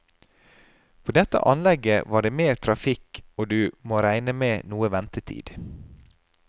På dette anlegget var det mer trafikk og du må regne med noe ventetid.